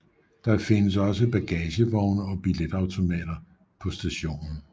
Der findes også bagagevogne og billetautomater på stationen